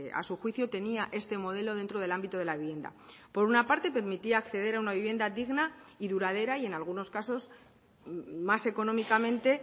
a su juicio tenía este modelo dentro del ámbito de la vivienda por una parte permitía acceder a una vivienda digna y duradera y en algunos casos más económicamente